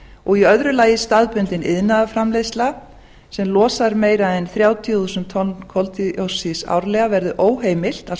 og í öðru lagi staðbundin iðnaðarframleiðsla sem losar meira en þrjátíu þúsund tonn koldíoxíðs árlega verði óheimilt